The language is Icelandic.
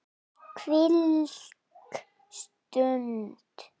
Hvílík stund.